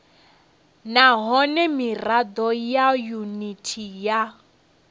nahone mirado ya yuniti ya